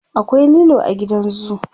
akwai lilo a gidan zoo